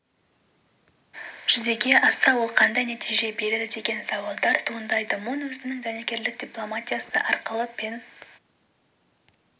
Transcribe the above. жүзеге асса ол қандай нәтиже береді деген сауалдар туындайды мун өзінің дәнекерлік дипломатиясы арқылы пен